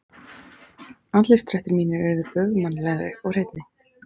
Andlitsdrættir mínir urðu göfugmannlegri og hreinni.